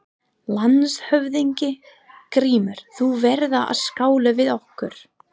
LANDSHÖFÐINGI: Grímur, þú verður að skála við okkur!